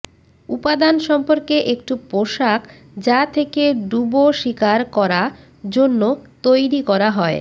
উপাদান সম্পর্কে একটু পোশাক যা থেকে ডুবো শিকার করা জন্য তৈরি করা হয়